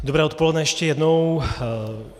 Dobré odpoledne ještě jednou.